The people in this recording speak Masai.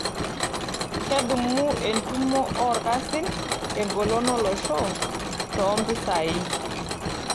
Kedumu entumoto oolkasin engolon olosho toompisai.